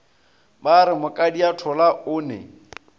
ba re mokadiathola o ne